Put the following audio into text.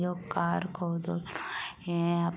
यो car को धूल रहे हैं यहाँ --